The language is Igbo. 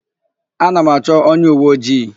Ana m achọ onyeuweojii.